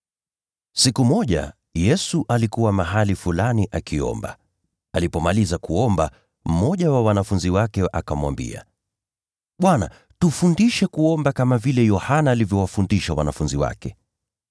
Siku moja, Yesu alikuwa mahali fulani akiomba. Alipomaliza kuomba, mmoja wa wanafunzi wake akamwambia, “Bwana, tufundishe kuomba, kama vile Yohana alivyowafundisha wanafunzi wake.”